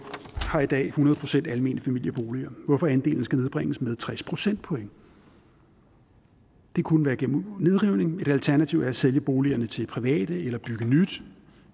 har i dag hundrede procent almene familieboliger hvorfor andelen skal nedbringes med tres procentpoint det kunne være igennem nedrivning et alternativ er at sælge boligerne til private eller bygge nyt